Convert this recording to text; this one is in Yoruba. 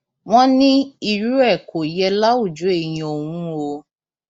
wọn ní irú rẹ kò yẹ láwùjọ èèyàn òun o